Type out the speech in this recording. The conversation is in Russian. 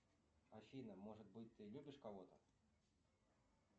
афина может быть ты любишь кого то